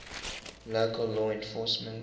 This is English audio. local law enforcement